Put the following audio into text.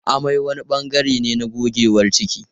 Amai wani bangare ne na gogewar ciki.